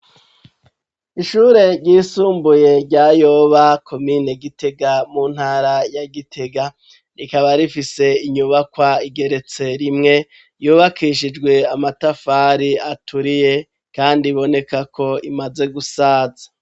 Ishure ryisumbuye rya Yoba, komine Gitega mu ntara ya Gitega, rikaba rifise inyubakwa igeretse rimwe yubakishijwe amatafari aturiye kandi iboneka ko imaze gusaza.